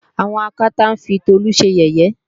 àwọn Akátá ń fi Tolú ṣe yẹ̀yẹ́